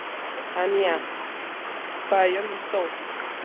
Tanya, hvað er jörðin stór?